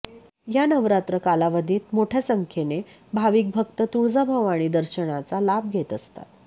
या नवरात्र कालावधीत मोठ्या संख्येने भाविक भक्त तुळजाभवानी दर्शनाचा लाभ घेत असतात